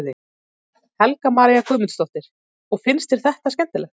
Helga María Guðmundsdóttir: Og finnst þér skemmtilegt?